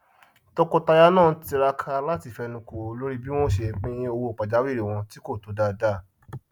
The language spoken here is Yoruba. tọkọtaya náà ń tiraka láti fẹnukò lórí bí wọn ó ṣe pín owó pajawiri wọn tí kò tó dáadáa